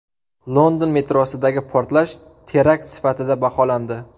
London metrosidagi portlash terakt sifatida baholandi.